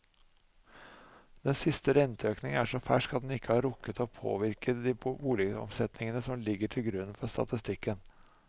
Den siste renteøkningen er så fersk at den ikke har rukket å påvirke de boligomsetningene som ligger til grunn for statistikken.